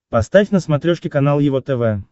поставь на смотрешке канал его тв